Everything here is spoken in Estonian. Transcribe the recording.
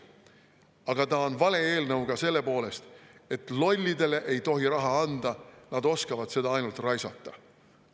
Aga ta on vale eelnõu ka sellepärast, et lollidele ei tohi raha anda, nad oskavad seda ainult raisata.